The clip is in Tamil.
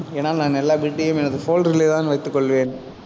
ஏன்னா, நான் எல்லா bit ஐயும் எனது shoulder லேதான் வைத்துக் கொள்வேன்